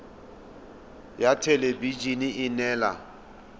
ya thelebi ene e neela